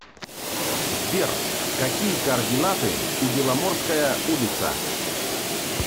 сбер какие координаты у беломорская улица